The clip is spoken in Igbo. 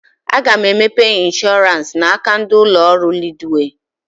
Aga m emepe ịnshọransị n'aka ndị ụlọ ọrụ Leedwey